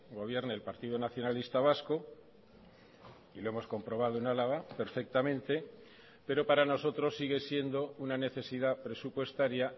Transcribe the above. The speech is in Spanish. gobierne el partido nacionalista vasco y lo hemos comprobado en álava perfectamente pero para nosotros sigue siendo una necesidad presupuestaria